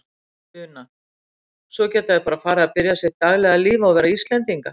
Una: Svo geta þau bara farið að byrja sitt daglega líf og vera Íslendingar?